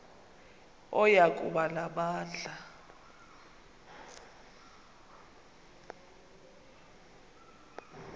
oya kuba namandla